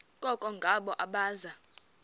koko ngabo abaza